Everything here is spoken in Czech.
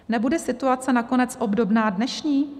Nebude situace nakonec obdobná dnešní?